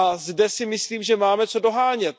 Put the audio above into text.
Zde si myslím, že máme co dohánět.